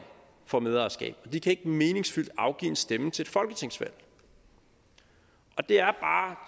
får medejerskab og de kan ikke meningsfyldt afgive en stemme til et folketingsvalg der